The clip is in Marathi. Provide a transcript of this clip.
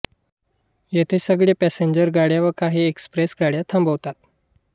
येथे सगळ्या पॅसेंजर गाड्या व काही एक्सप्रेस गाड्या थांबतात